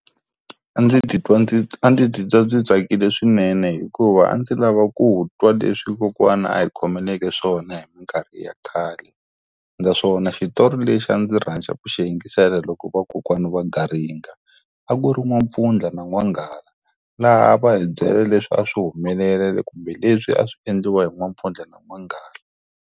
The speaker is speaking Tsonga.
A ndzi titwa ndzi a ndzi titwa ndzi tsakile swinene hikuva a ndzi lava ku twa leswi kokwana a hi khomeleke swona hi minkarhi ya khale naswona xitori lexi a ndzi rhandza ku xi yingisela loko vakokwana va garinga, a ku ri n'wampfundla na n'wanghala. Laha va hi byela leswi a swi humelela kumbe leswi a swi endliwa hi n'wampfundla na n'wanghala.